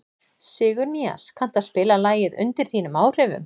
Sigurnýas, kanntu að spila lagið „Undir þínum áhrifum“?